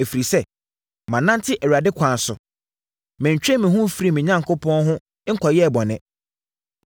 Ɛfiri sɛ, manante Awurade akwan so; Mentwee me ho mfirii me Onyankopɔn ho nkɔyɛɛ bɔne.